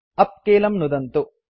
उप् कीलं नुदन्तु